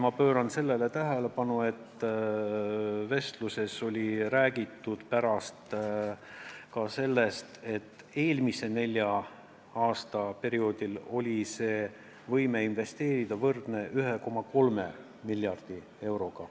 Ma pööran siin tähelepanu, et pärast räägiti vestluses ka sellest, et eelmise nelja aasta perioodil oli see võime investeerida võrdne 1,3 miljardi euroga.